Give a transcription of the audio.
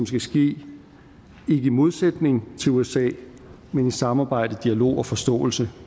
skal ske ikke i modsætning til usa men i samarbejde dialog og forståelse